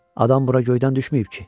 Adam bura göydən düşməyib ki?